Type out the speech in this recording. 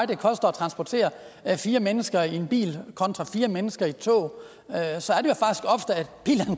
det koster at transportere fire mennesker i en bil kontra fire mennesker i et tog så er